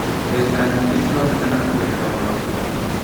Mbeca nyingĩ cironekana kũgerera mawĩra.